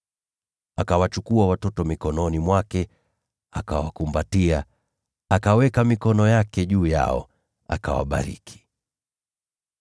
Akawachukua watoto mikononi mwake, akawakumbatia, akaweka mikono yake juu yao, akawabariki.